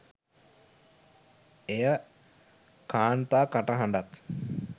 එය කාන්තා කටහඬක්